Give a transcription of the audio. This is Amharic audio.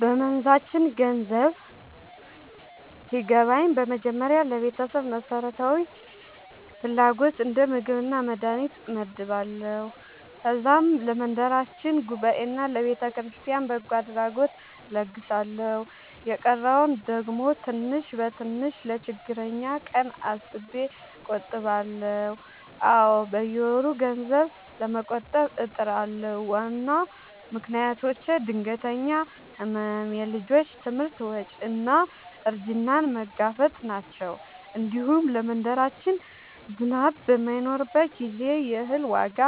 በመንዛችን ገንዘብ ሲገባኝ በመጀመሪያ ለቤተሰብ መሠረታዊ ፍላጎት እንደ ምግብና መድሀኒት እመድባለሁ። ከዛም ለመንደራችን ጉባኤና ለቤተክርስቲያን በጎ አድራጎት እለግሳለሁ። የቀረውን ደግሞ ትንሽ በትንሽ ለችግረኛ ቀን አስቤ እቆጥባለሁ። አዎ፣ በየወሩ ገንዘብ ለመቆጠብ እጥራለሁ። ዋና ምክንያቶቼ ድንገተኛ ሕመም፣ የልጆች ትምህርት ወጪ እና እርጅናን መጋፈጥ ናቸው። እንዲሁም ለመንደራችን ዝናብ በማይኖርበት ጊዜ የእህል ዋጋ